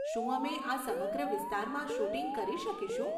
શું અમે આ સમગ્ર વિસ્તારમાં શૂટિંગ કરી શકીશું?